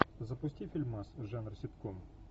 запусти фильмас жанр ситком